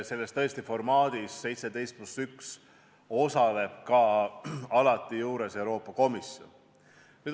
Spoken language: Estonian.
Selles formaadis 17 + 1 osaleb alati ka Euroopa Komisjon.